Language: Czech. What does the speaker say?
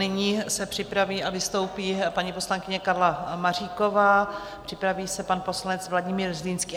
Nyní se připraví a vystoupí paní poslankyně Karla Maříková, připraví se pan poslanec Vladimír Zlínský.